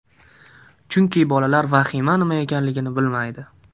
Chunki bolalar vahima nima ekanligini bilmaydi.